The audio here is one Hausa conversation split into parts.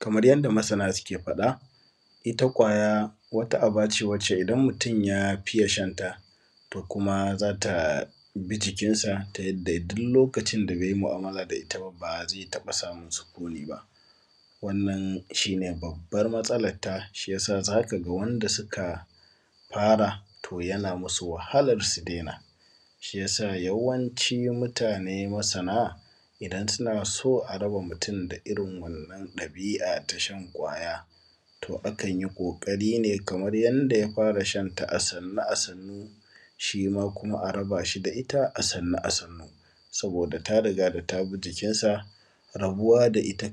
Kamar yadda masana suke faɗa, ita ƙwaya wata aba ce wacce idan mutum ya fiye shan ta, to kuma za ta bi jikinsa ta yadda duk lokacin da bai yi mu’amala da ita ba, ba zai taɓa samun sukuni ba, Wannan shi ne babbar matsalarta, shi ya sa za ka ga wanda suka fara, to yana musu wahalar su daina. Shi ya sa yawanci mutane masana, idan suna so a raba mutum da irin wannan ɗabi’a ta shan ƙwaya, to akan yi ƙoƙari ne kamar yanda ya fara shan ta a sannu a sannu, shi ma kuma a raba shi da ita a sannu a sannu, saboda ta riga da ta bi jikinsa, rabuwa da ita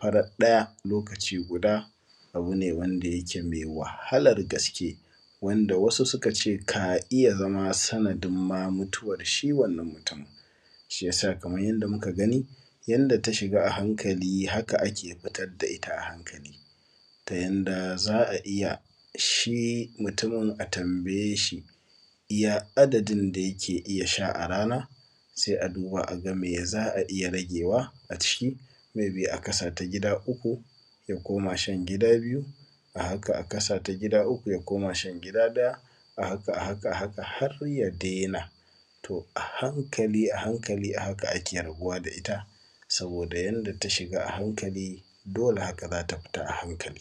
farat ɗaya, lokaci guda, abu ne wanda yake mai wahalar gaske, wanda wasu suka ce ka iya zama sanadin ma mutuwar shi wannan mutum. Shi ya sa kamar yadda muka gani, yanda ta shiga a hankali, haka ake fitar da ita a hankali, ta yanda za a iya, shi mutumin a tambaye shi, ya adadin da yake iya sha a rana? Sai a duba a ga me za a iya ragewa a ciki, may be a kasa ta gida uku ya koma shan gida biyu, a haka a kasa ta uku ya koma shan gida ɗaya, a haka a haka har ya daina. To a hankali, a hankali, a haka ake rabuwa da ita, saboda yanda ta shiga a hankali, dole haka za ta fita a hankali.